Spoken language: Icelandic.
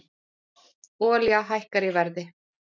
Olía hækkar í verði